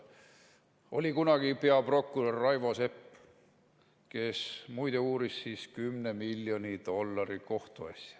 Oli kunagi peaprokurör Raivo Sepp, kes muide uuris 10 miljoni dollari kohtuasja.